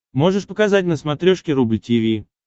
можешь показать на смотрешке рубль ти ви